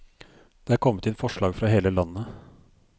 Det er kommet inn forslag fra hele landet.